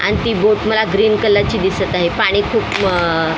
आणि ती बुक मला ग्रीन कलर ची दिसत आहे पाणी खूप अ --